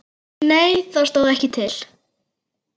Nei það stóð ekki til.